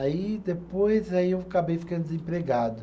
Aí depois, aí eu acabei ficando desempregado.